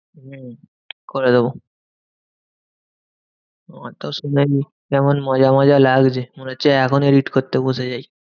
হম করে দেব। আমার তো শুনেই কেমন মজা মজা লাগছে মনে হচ্ছে এখনই edit করতে বসে যাই।